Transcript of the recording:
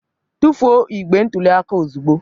Tufuo igbe ntụli aka ozugbo!